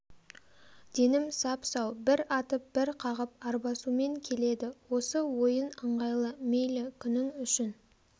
денім сап-сау бір атып бір қағып арбасумен келеді осы ойын ыңғайлы мейлі күнің үшін